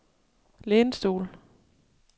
lænestol